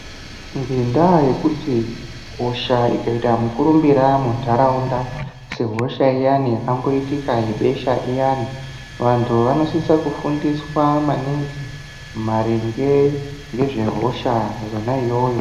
Ngendaa yekuti hosha ikaita mukurumbira maningi munharaunda sehosha iyani yakamboitika yebesha iyani vanhu vanosise kufundiswa maningi maringe ngezvehosha yona iyoyo